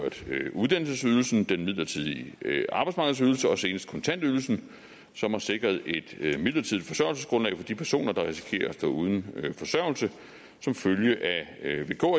uddannelsesydelsen den midlertidige arbejdsmarkedsydelse og senest kontantydelsen som har sikret et et midlertidigt forsørgelsesgrundlag for de personer der risikerer at stå uden forsørgelse som følge af vk